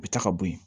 U bɛ taa ka bɔ yen